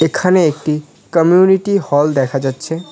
এখানে একটি community hall দেখা যাচ্ছে।